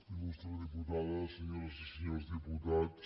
il·lustre diputada senyores i senyors diputats